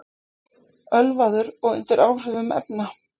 Ölvaður og undir áhrifum efna